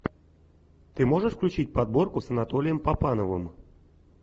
ты можешь включить подборку с анатолием папановым